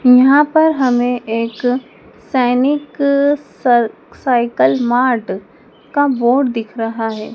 यहाँ पर हमें एक सैनिक स साइकिल मार्ट का बोर्ड दिख रहा है।